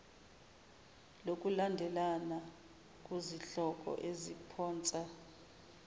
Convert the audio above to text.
lokulandelana kuzihloko eziphonsa